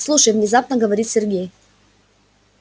слушай внезапно говорит сергей